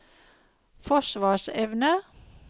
forsvarsevne